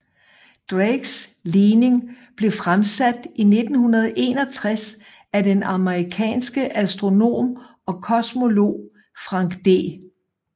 Drakes ligning blev fremsat i 1961 af den amerikanske astronom og kosmolog Frank D